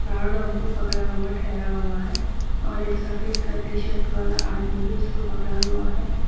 ان کو پکڑا ہوا ٹھہرا ہوا ہے اور ایک سفید کرتی شرٹ والا ادمی بھی اس کو پکڑا.